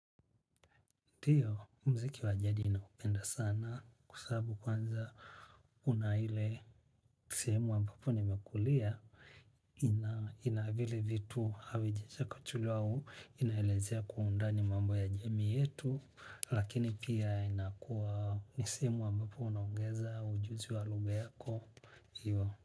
Ndio, mziki wa jadi ninaupenda sana kwa sababu kwanza, kuna ile sehemu ambapo nimekulia, ina vile vitu havijachakachuliwa au, inalezea kwa undani mambo ya jamii yetu, lakini pia inakua ni sehemu ambapo unaongeza ujuzi wa lugha yako, hiyo.